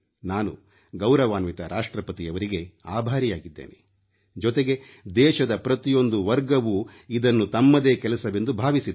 ನಾನು ಗೌರವಾನ್ವಿತ ರಾಷ್ಟ್ರಪತಿಯವರಿಗೆ ಆಭಾರಿಯಾಗಿದ್ದೇನೆ ಜೊತೆಗೆ ದೇಶದ ಪ್ರತಿಯೊಂದೂ ವರ್ಗವೂ ಇದನ್ನು ತಮ್ಮದೇ ಕೆಲಸವೆಂದು ಭಾವಿಸಿದೆ